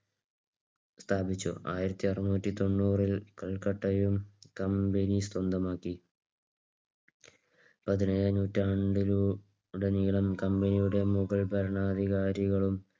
സ്ഥാപിച്ചു. ആയിരത്തിഅറുന്നൂറ്റി ത്തൊണ്ണൂരിൽ കൽക്കട്ടയും company സ്വന്തമാക്കി. പതിനേഴാം നൂറ്റാണ്ടിലൂടെ നീളം company യുടെ മുഗൾ ഭരണാധികാരികളും